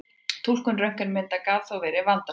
Túlkun röntgenmyndanna gat þó verið vandasöm.